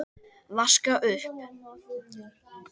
Vaska upp?